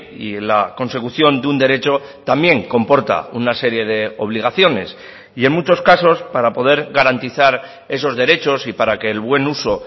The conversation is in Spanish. y la consecución de un derecho también comporta una serie de obligaciones y en muchos casos para poder garantizar esos derechos y para que el buen uso